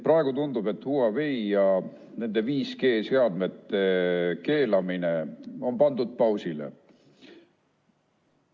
Praegu tundub, et Huawei ja nende 5G-seadmete keelamine on pandud pausile.